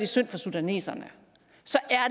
synd for sudaneserne